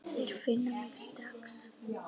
Þeir finna mig strax.